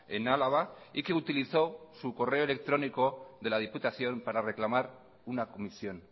en álava y que utilizó su correo electrónico de la diputación para reclamar una comisión